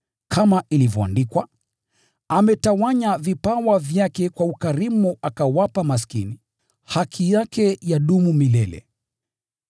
Kama ilivyoandikwa: “Ametawanya vipawa vyake kwa ukarimu akawapa maskini; haki yake hudumu milele.”